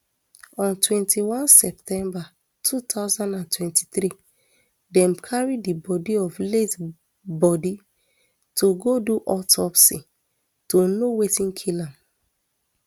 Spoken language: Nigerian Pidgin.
on twenty-one september two thousand and twenty-three dem carry di body of late body to go do autopsy to know wetin kill am